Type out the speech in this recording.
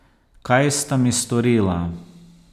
Kaj sta mi storila?